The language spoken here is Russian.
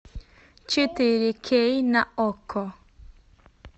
четыре кей на окко